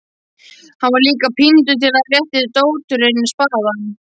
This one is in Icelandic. Hann var líka píndur til að rétta dótturinni spaðann.